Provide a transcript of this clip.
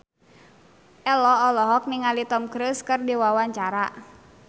Ello olohok ningali Tom Cruise keur diwawancara